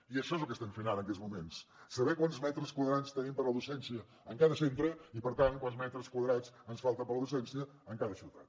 i això és el que estem fent ara en aquests moments saber quants metres quadrats tenim per a la docència en cada centre i per tant quants metres quadrats ens falten per a la docència en cada ciutat